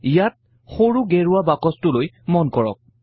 ইয়াত সৰু গেৰুৱা বাকচটোলৈ মন কৰক